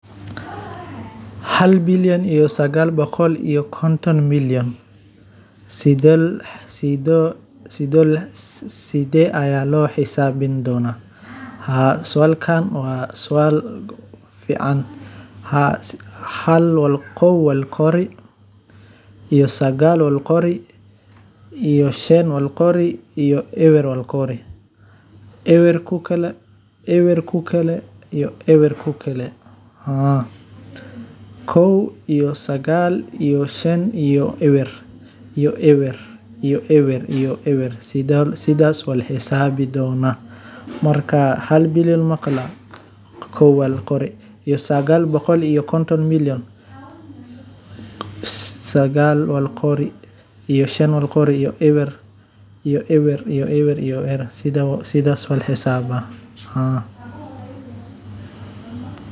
Warshadaynta ama maaraynta qashinka waa geeddi-socod muhiim ah oo ay bulshooyinka casriga ahi aad u daneynayaan, maadaama ay si toos ah ugu xirantahay nadaafadda deegaanka, badbaadada caafimaadka, iyo ilaalinta kheyraadka dabiiciga ah. Qashinku haddii aan si sax ah loo maarayn wuxuu sababi karaa dhibaatooyin badan sida wasakhowga biyaha, hawada, iyo dhulka.